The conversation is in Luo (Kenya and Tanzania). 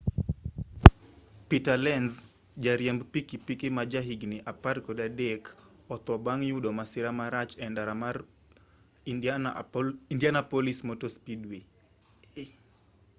peter lenz jariemb pikipiki ma ja higni 13 otho bang' youdo masira marach e ndara mar indianapolis motor speedway